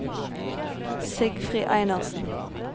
Sigfrid Einarsen